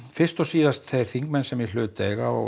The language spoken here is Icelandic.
fyrst og síðast þeir þingmenn sem í hlut eiga